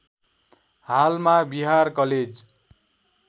हालमा बिहार कलेज